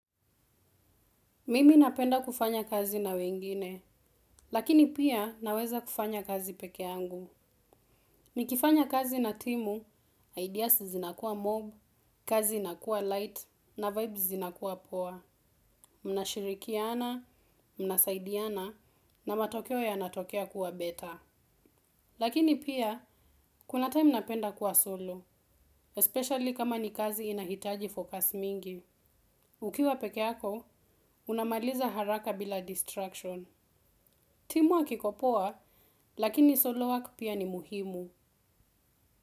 Mimi napenda kufanya kazi na wengine, lakini pia naweza kufanya kazi peke yangu. Nikifanya kazi na timu, ideas zinakuwa mob, kazi inakuwa light, na vibes zinakuwa poa, mnashirikiana, mnasaidiana, na matokeo yanatokea kuwa better. Lakini pia, kuna time napenda kuwa solo, especially kama ni kazi inahitaji focus mingi. Ukiwa peke yako, unamaliza haraka bila distraction. Teamwork iko poa, lakini solo work pia ni muhimu.